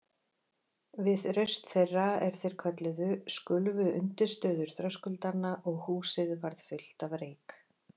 Við raust þeirra, er þeir kölluðu, skulfu undirstöður þröskuldanna og húsið varð fullt af reyk.